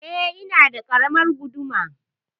Eh, ina da ƙaramar guduma.